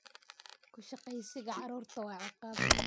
Ku shaqeysiga carruurta waa ciqaab.